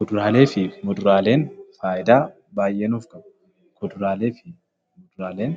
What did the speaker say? Kuduraalee fi muduraaleen faayidaa baay'ee nuuf qabu. Kuduraalee fi muduraaleen